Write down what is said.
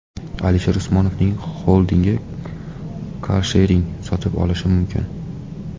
Alisher Usmonovning xoldingi karshering sotib olishi mumkin.